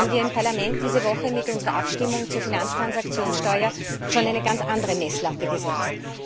Da haben wir im Parlament diese Woche mit unserer Abstimmung zur Finanztransaktionssteuer schon eine ganz andere Messlatte gesetzt.